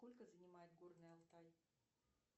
сколько занимает горный алтай